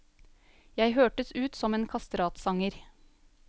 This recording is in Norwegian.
Jeg hørtes ut som en kastratsanger.